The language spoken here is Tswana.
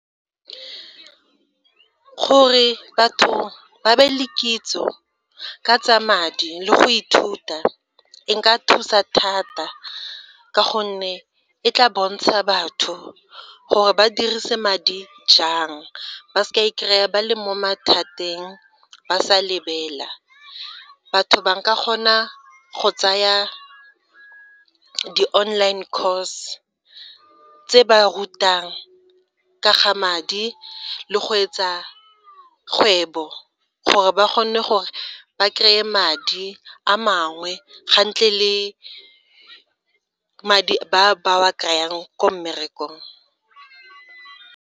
Gore batho ba be le kitso ka tsa madi le go ithuta e ka thusa thata ka gonne e tla bontsha batho gore ba dirise madi jang, ba se ka e kry-a ba le mo mathateng ba sa lebela batho ba ka kgona go tsaya di online cause tse ba rutang ka ga madi le go etsa kgwebo gore ba kgone gore ba kry-e madi a mangwe le madi a ba kry-ang ko mmerekong.